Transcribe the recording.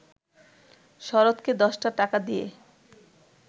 শরৎকে দশটা টাকা দিয়ে